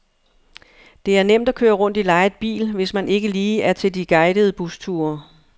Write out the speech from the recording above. Det er nemt at køre rundt i lejet bil, hvis man ikke lige er til de guidede busture.